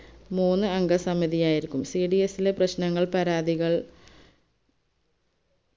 മൂന്ന് അംഗ സമിതി ആയിരിക്കും cds ലെ പ്രശ്നങ്ങൾ പരാതികൾ